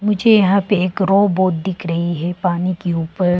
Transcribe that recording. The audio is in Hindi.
मुझे यहां पे एक रोबोट दिख रही है पानी के ऊपर।